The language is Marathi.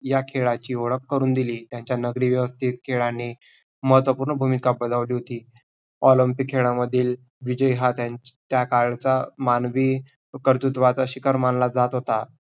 या खेळाची ओळख करून दिली त्यांच्या नगरीवस्ती खेळांनी महत्वपूर्ण भूमिका बजावली होती. olympic खेळामधील विजय हा त्यांच त्या कालचा मानवी कर्तृत्वाचा शिकार मानला जात होता.